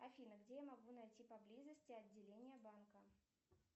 афина где я могу найти поблизости отделение банка